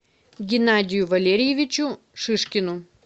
геннадию валерьевичу шишкину